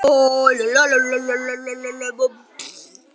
Hvernig lítur þetta út núna?